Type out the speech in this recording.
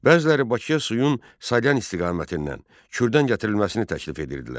Bəziləri Bakıya suyun Salyan istiqamətindən, Kürdən gətirilməsini təklif edirdilər.